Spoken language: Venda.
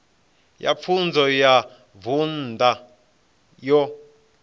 ya pfunzo ya vunḓu yo